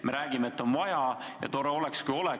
Me räägime, et on vaja ja tore oleks, kui oleks.